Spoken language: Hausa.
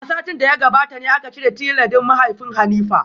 A satin da ya gabata ne aka cire tile din mahaifin Hanifa.